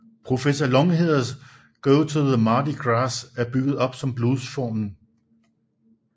Professor Longhairs Go to the Mardi Gras er bygget op om bluesformen